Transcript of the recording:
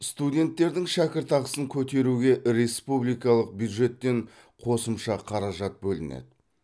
студенттердің шәкіртақысын көтеруге республикалық бюджеттен қосымша қаражат бөлінеді